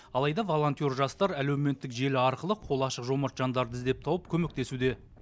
алайда волонтер жастар әлеуметтік желі арқылы қолы ашық жомарт жандарды іздеп тауып көмектесуде